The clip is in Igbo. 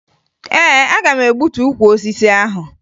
Ee, aga m egbutu ukwu osisi ahụ